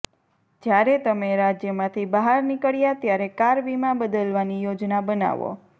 જ્યારે તમે રાજ્યમાંથી બહાર નીકળ્યા ત્યારે કાર વીમા બદલવાની યોજના બનાવો